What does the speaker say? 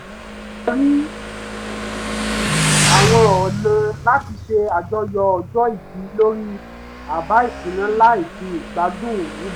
a rí àwọn ọ̀nà láti ṣe àjọyọ̀ ọjọ́ ìbí lórí àbá ìṣúná láì fi ìgbádún rúbọ